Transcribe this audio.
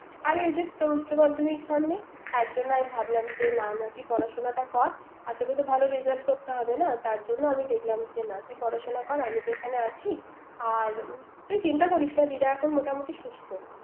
আরে ওই যে তোর উচ্চ মাধ্যমিক সামনে তাই জন্য আমি ভাবলাম যে না। তুই পড়াশুনাটী করত আর তোকে তো ভালো result করতে হবে না। তার জন্য আমি দেখলাম তুই পড়াশুনা কর। আমি তো এখানে আছি। তুই চিন্তা করিস না দিদা এখন মোটামুটি সুস্থ